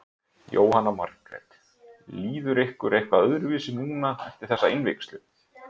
Jóhanna Margrét: Líður ykkur eitthvað öðruvísi núna eftir þessa innvígslu?